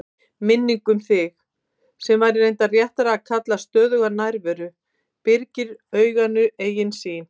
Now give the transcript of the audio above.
Minningin um þig, sem væri reyndar réttara að kalla stöðuga nærveru, byrgir auganu eigin sýn.